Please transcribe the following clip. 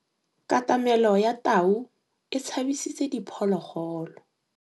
Katamêlô ya tau e tshabisitse diphôlôgôlô.